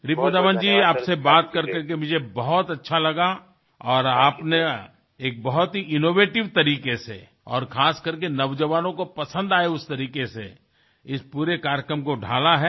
रिपुदमन जी आपसे बात करके मुझे बहुत अच्छा लगा और आपने एक बहुत ही इनोवेटिव तरीके से और खासकर के नौजवानों को पसंद आये उस तरीके से इस पूरे कार्यक्रम को ढाला है